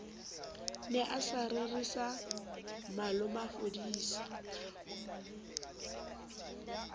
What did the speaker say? ne a sa rerisa malomafodisa